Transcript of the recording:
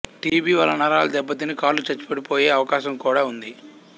TB వల్ల నరాలు దెబ్బతిని కాళ్లు చచ్చుబడిపోయే అవకాశం కూడా ఉంది